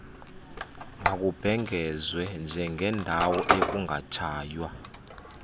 mazibhengezwe njengeendawo ekungatshaywa